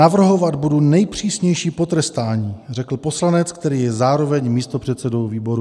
Navrhovat budu nejpřísnější potrestání, řekl poslanec, který je zároveň místopředsedou výboru.